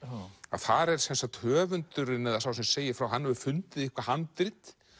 þar er höfundurinn eða sá sem segir frá hann hefur fundið eitthvað handrit